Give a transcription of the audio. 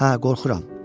Hə, qorxuram.